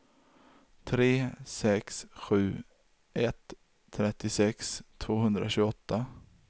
tre sex sju ett trettiosex tvåhundratjugoåtta